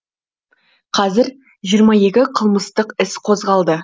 қазір жиырма екі қылмыстық іс қозғалды